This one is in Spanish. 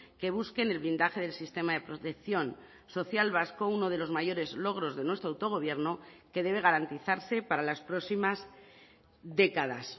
que busquen el blindaje del sistema de protección social vasco uno de los mayores logros de nuestro autogobierno que debe garantizarse para las próximas décadas